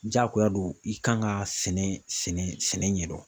Jaagoya do i kan ka sɛnɛ sɛnɛ sɛnɛ ɲɛdɔn.